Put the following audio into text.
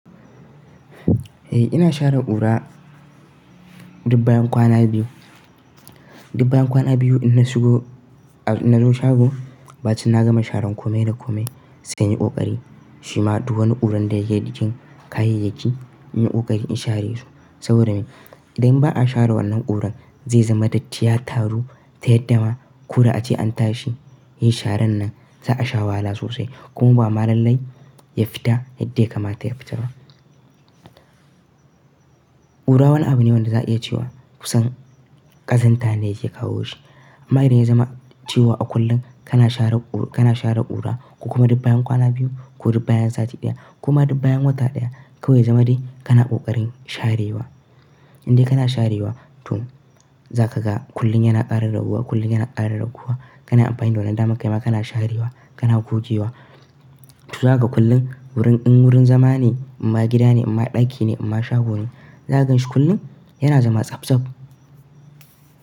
Eh ina share ƙura dik bayan kwana biyu. Duk bayan kwana biyu in na shigo, in na zo shago, bacin na gama sharan kome da kome su kan yi ƙoƙari. Shi ma duk wani ƙuran da yake jikin kayayyaki in yi ƙoƙari in share su. Saboda me? Idan ba a share wannan ƙuran zai zama datti ya taru, ta yadda ma ko da ace an tashi, yi sharan nan za a sha wahala sosai kuma ba ma lalai ya fita yadda ya kamata ya fita ba. Ƙura wani abu ne wanda za a iya cewa kusan ƙazanta ne yake kawo shi. Amma idan ya zama cewa a kullum kana share ƙura ko kuma duk bayan kwana biyu ko duk bayan sati ɗaya ko ma duk bayan wata ɗaya kawai ya zama dai kana ƙoƙarin sharewa. Indai kana sharewa, to za ka ga kullum yana ƙara raguwa, kullum yana ƙara raguwa. Kana amfani da wannan damar kai ma kana sharewa, kana gogewa. Toh za ka ga kullum wurin in wurin zama ne, in ma gida ne, in ma ɗaki ne, in ma shago ne, za ka ganshi kullum yana zama tsabtsab.